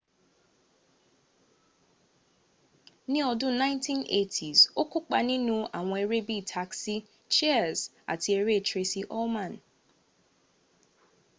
ni odun 1980s o kópa ninu awon ere bii taxi cheers ati ere traci ulman